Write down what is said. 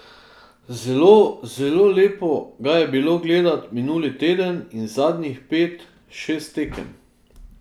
Zelo, zelo lepo ga je bilo gledati minuli teden in zadnjih pet, šest tekem.